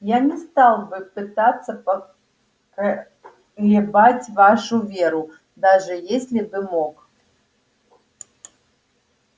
я не стал бы пытаться поколебать вашу веру даже если бы мог